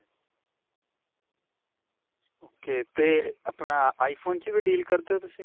ok. 'ਤੇ ਆਪਣਾ iphone 'ਚ ਵੀ deal ਕਰਦੇ ਹੋ ਤੁਸੀਂ?